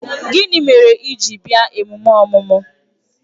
Gịnị mere i ji bịa emume ọmụmụ?